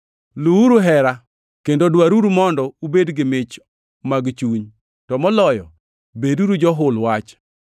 Luwuru hera, kendo dwaruru mondo ubed gi mich mag chuny, to moloyo beduru johul wach.